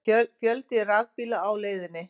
Fjöldi rafbíla á leiðinni